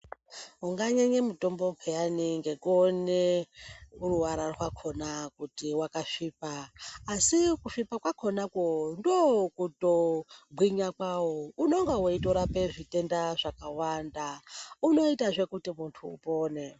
Unganyenye mitombo pheyani ngekuone ruwara rwakhona kuti wakasvipa, asi kusvipa kwakhonako ndokutogwinya kwawo. Unonga weitorape zvitenda zvakawanda. Unoitazve kuti muntu apone.